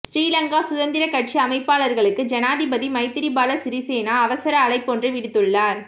ஸ்ரீலங்கா சுதந்திரக் கட்சி அமைப்பாளர்களுக்கு ஜனாதிபதி மைத்திரிபால சிறிசேன அவசர அழைப்பொன்றை விடுத்துள்ளார்